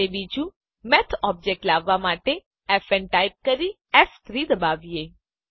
અને બીજું math object લાવવાં માટે ફ ન ટાઈપ કરીને ફ3 દબાવીએ